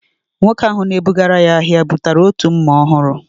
Nwoke ahu na-ebugara ya ahịa, bụtara otu mma ọhụrụ